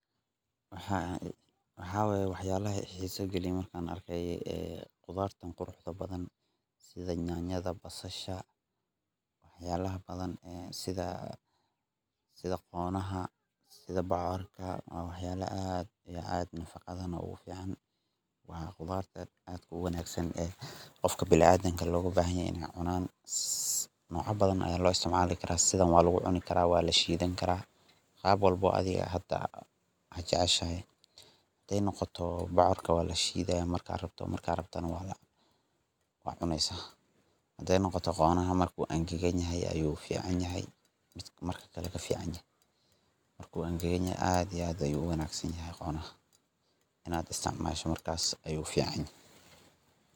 Waxa waye wax yalaha i xiisa geliye markan arkay qudartan quruxda badan sida nyaanyada, basasha wax yalaha badan sida qonaha sida bocorka waa wax yalaha aad iyo aad na nafaqada ogu fican, waa qudarta aadka u wanaagsan ee qofka bini adamka loga bahan yahay inay cunan, nocya badan aya loo isticmaali karaa sidan waa lugu cuni karaa, waa lashiidan karaa, qab walbo oo adiga ad jeceshahay, haday noqoto bocorka waa lashiidaya marka rabtona waa cuneysa, haday noqoto qonaha marku engegan yahay ayu fican yahay uu marka kale ka fican yahay markuu anggagan yahay aad iyo aad ayu u wanaagsan yahay qonaha, inad isticmaasho markas ayu fican yahay